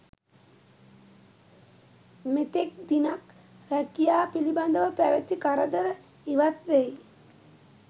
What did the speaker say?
මෙතෙක් දිනක් රැකියා පිළිබඳව පැවති කරදර ඉවත් වෙයි.